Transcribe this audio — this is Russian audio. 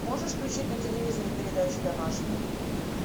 можешь включить на телевизоре передачу домашний